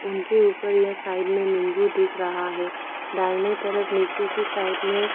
उनके ऊपर या साइड में नींबू दिख रहा है दाहिने तरफ नीचे की साइड में--